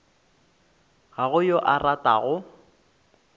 ga go yo a ratago